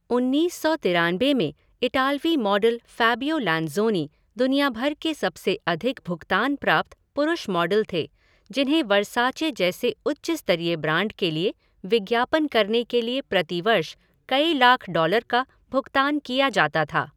उन्नीस सौ तिरानबे में इटालवी मॉडल फ़ैबियो लैंज़ोनी दुनिया भर के सबसे अधिक भुगतान प्राप्त पुरुष मॉडल थे जिन्हें वर्साचे जैसे उच्च स्तरीय ब्रांड के लिए विज्ञापन करने के लिए प्रति वर्ष कई लाख डॉलर का भुगतान किया जाता था।